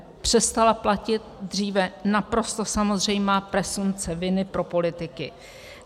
Přestala platit dříve naprosto samozřejmá presumpce viny pro politiky.